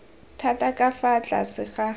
thata ka fa tlase ga